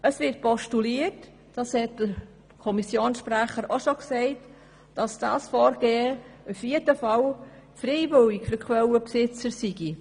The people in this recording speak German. Wie der Kommissionssprecher bereits gesagt hat, wird postuliert, dass dieses Vorgehen in jedem Fall für die Quellenbesitzer freiwillig sei.